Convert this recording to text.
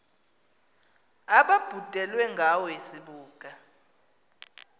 ababhudelwe ngawe sibuka